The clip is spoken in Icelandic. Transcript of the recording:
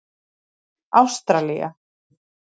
Ástralía